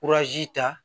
ta